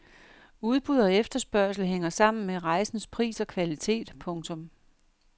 Udbud og efterspørgsel hænger sammen med rejsens pris og kvalitet. punktum